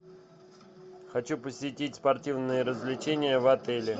хочу посетить спортивные развлечения в отеле